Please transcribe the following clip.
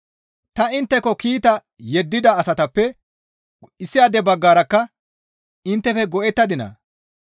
Ta intteko kiita yeddida asatappe issaade baggarakka inttefe go7ettadinaa?